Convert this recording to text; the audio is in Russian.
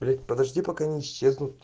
блять подожди пока не исчезнут